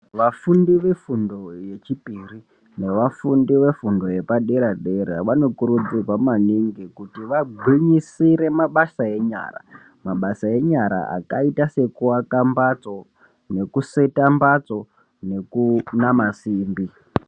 Vafundi vefundo yechipiri nevafundi vefundo yepadera dera vanokurudzirwa maningi kuti vagwinyisire mabasa enyara mabasa enyara akaita sekuaka mbatso, nekuseta mbatso nekunama simbi.